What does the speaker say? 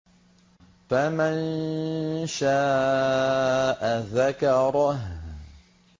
فَمَن شَاءَ ذَكَرَهُ